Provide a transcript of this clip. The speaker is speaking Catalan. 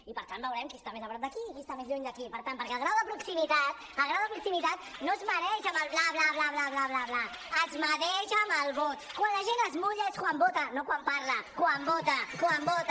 i per tant veu·rem qui està més a prop de qui i qui està més lluny de qui perquè el grau de proximi·tat el grau de proximitat no es mesura amb el bla bla bla bla bla bla bla bla es mesura amb el vot quan la gent es mulla és quan vota no quan parla quan vota quan vota